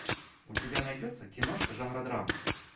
у тебя найдется киношка жанра драма